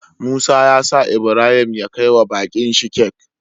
Musa yasa Ibrahim ya kai wa bakin shi cake